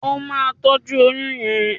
O ma tọjú oyún yén!